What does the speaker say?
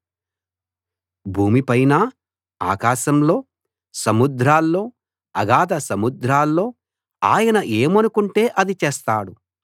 భూమి పైన ఆకాశంలో సముద్రాల్లో అగాధ సముద్రాల్లో ఆయన ఏమనుకుంటే అది చేస్తాడు